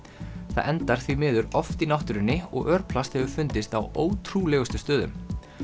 það endar því miður oft í náttúrunni og örplast hefur fundist á ótrúlegustu stöðum